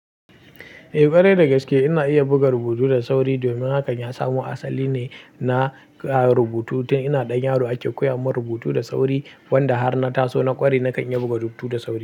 Eh ƙwarai da gaske ina iya buga rubutu da sauri domin hakan ya samo asali ne na rubutu ta ina ɗan yaro ake koya mun rubutu da sauri wanda har na taso na ƙware na kan iya buga rubutu da sauri.